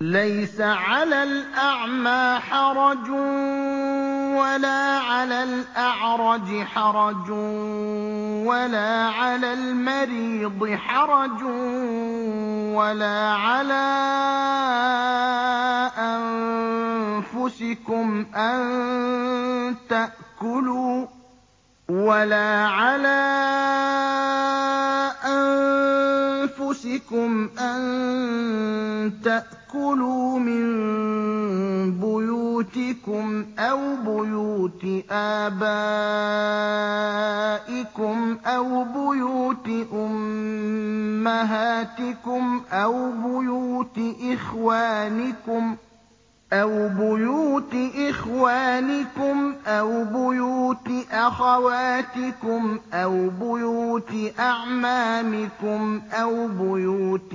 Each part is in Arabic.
لَّيْسَ عَلَى الْأَعْمَىٰ حَرَجٌ وَلَا عَلَى الْأَعْرَجِ حَرَجٌ وَلَا عَلَى الْمَرِيضِ حَرَجٌ وَلَا عَلَىٰ أَنفُسِكُمْ أَن تَأْكُلُوا مِن بُيُوتِكُمْ أَوْ بُيُوتِ آبَائِكُمْ أَوْ بُيُوتِ أُمَّهَاتِكُمْ أَوْ بُيُوتِ إِخْوَانِكُمْ أَوْ بُيُوتِ أَخَوَاتِكُمْ أَوْ بُيُوتِ أَعْمَامِكُمْ أَوْ بُيُوتِ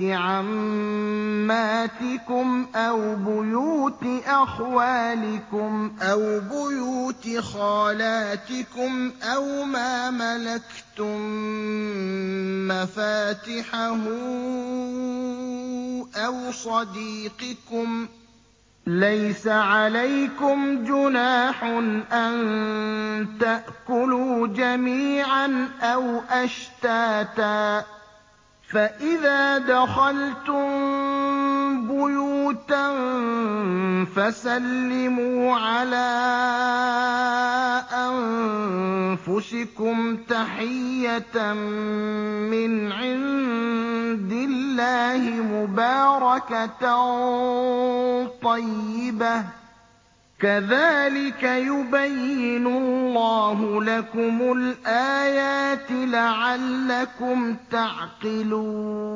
عَمَّاتِكُمْ أَوْ بُيُوتِ أَخْوَالِكُمْ أَوْ بُيُوتِ خَالَاتِكُمْ أَوْ مَا مَلَكْتُم مَّفَاتِحَهُ أَوْ صَدِيقِكُمْ ۚ لَيْسَ عَلَيْكُمْ جُنَاحٌ أَن تَأْكُلُوا جَمِيعًا أَوْ أَشْتَاتًا ۚ فَإِذَا دَخَلْتُم بُيُوتًا فَسَلِّمُوا عَلَىٰ أَنفُسِكُمْ تَحِيَّةً مِّنْ عِندِ اللَّهِ مُبَارَكَةً طَيِّبَةً ۚ كَذَٰلِكَ يُبَيِّنُ اللَّهُ لَكُمُ الْآيَاتِ لَعَلَّكُمْ تَعْقِلُونَ